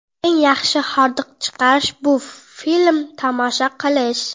Eng yaxshi hordiq chiqarish – bu film tomosha qilish.